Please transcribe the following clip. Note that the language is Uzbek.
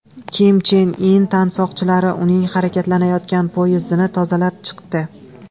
Kim Chen In tansoqchilari uning harakatlanayotgan poyezdini tozalab chiqdi .